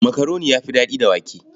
Makaroni ya fi daɗi da wake.